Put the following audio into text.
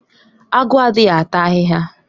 Agu adịghị ata ahịhịa